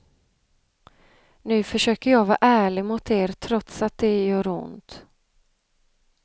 Nu försöker jag vara ärlig mot er trots att det gör ont.